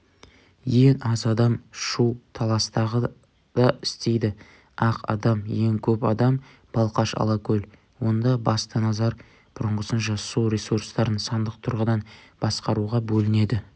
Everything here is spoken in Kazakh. ең аз адам шу-таластағы да істейді ақ адам ең көп адам балқаш-алакөл онда басты назар бұрынғысынша су ресурстарын сандық тұрғыдан басқаруға бөлінеді